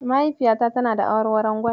Mahaifiyata tana da awarwaron Gwal.